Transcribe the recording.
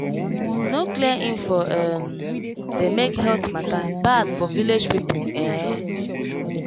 no clear info um dey make health matter bad for village people ehn